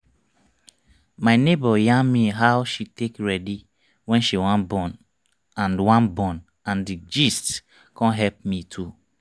my neighbor yarn me how she take ready wen she wan born and wan born and the gist con help me too